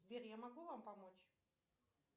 сбер я могу вам помочь